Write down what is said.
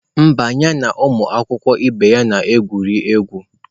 Mba, ya na ụmụ akwụkwọ ibe ya na-egwuri egwu